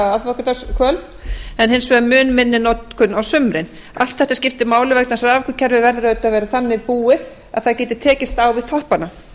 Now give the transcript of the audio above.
aðfangadagskvöld en hins vegar mun minni notkun á sumrin allt þetta skiptir máli vegna þess að raforkukerfi verður auðvitað að vera þannig búið að það geti tekist á við toppana